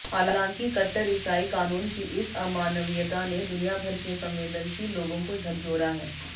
हालांकि कट्टर ईसाई कानून की इस अमानवीयता ने दुनियाभर के संवेदनशील लोगों को झकझोरा है